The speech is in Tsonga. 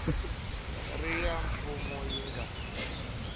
ri ya mfumo yi nga